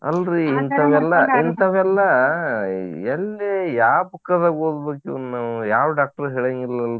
ಇಂತಾವೆಲ್ಲಾ ಎಲ್ಲಿ ಯಾ book ದಾಗ ಓದ್ಬೇಕ್ ಇವ್ನ್ ನಾವು? ಯಾವ doctor ಹೇಳಾಂಗಿಲ್ಲ ಅಲ್ರಿ?